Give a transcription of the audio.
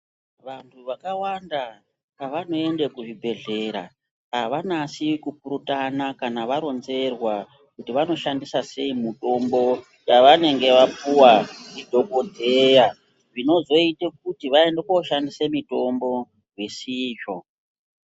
Vantu vakawanda pavano ende ku zvibhedhlera ava nasi ku kurutana kana varonzerwa kuti vano shandisa sei mutombo ya vanenge vapuwa ndi dhokodheya zvino zoite kuti vaende ko shandise mitombo zvisizvo.